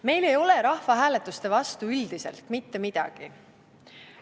Meil ei ole rahvahääletuste vastu üldiselt mitte midagi.